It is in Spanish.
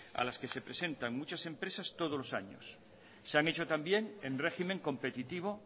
a las que se presentan muchas empresas todos los años se han hecho también en régimen competitivo